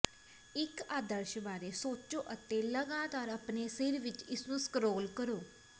ਇੱਕ ਆਦਰਸ਼ ਬਾਰੇ ਸੋਚੋ ਅਤੇ ਲਗਾਤਾਰ ਆਪਣੇ ਸਿਰ ਵਿੱਚ ਇਸਨੂੰ ਸਕ੍ਰੋਲ ਕਰੋ